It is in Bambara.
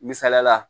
Misaliyala